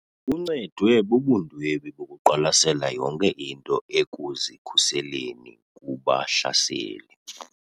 Uncedwe bubundwebi bokuqwalasela yonke into ekuzikhuseleni kubahlaseli.